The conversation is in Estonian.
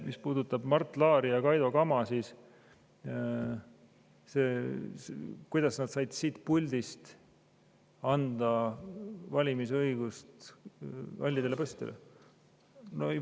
Mis puudutab Mart Laari ja Kaido Kama, siis kuidas nad said siit puldist anda valimisõigust halli passi omanikele?